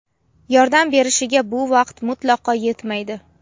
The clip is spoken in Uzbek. yordam berishiga bu vaqt mutlaqo yetmaydi.